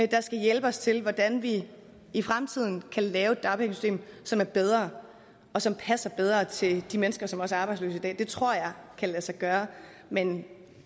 der skal hjælpe os til hvordan vi i fremtiden kan lave et dagpengesystem som er bedre og som passer bedre til de mennesker som også er arbejdsløse i dag det tror jeg kan lade sig gøre men